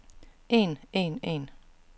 en en en